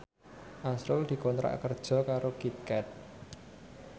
azrul dikontrak kerja karo Kit Kat